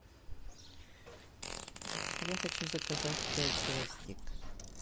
я хочу заказать пять гвоздик